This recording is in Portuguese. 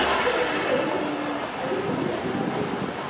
Mas eu falei, mas eu não sabia que eu ia perder, né?